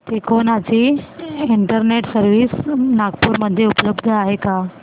तिकोना ची internet service Nagpur मध्ये उपलब्ध आहे का